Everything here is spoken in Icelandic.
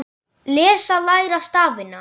Lesa- læra stafina